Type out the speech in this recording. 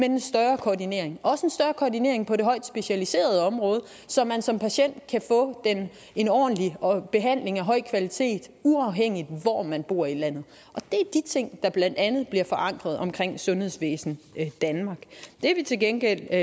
en større koordinering også en større koordinering på det højt specialiserede område så man som patient kan få en ordentlig behandling af høj kvalitet uafhængigt af hvor man bor i landet det er de ting der blandt andet bliver forankret omkring sundhedsvæsen danmark det vi til gengæld